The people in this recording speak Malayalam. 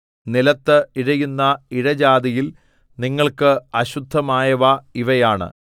നിലത്ത് ഇഴയുന്ന ഇഴജാതിയിൽ നിങ്ങൾക്ക് അശുദ്ധമായവ ഇവയാണ്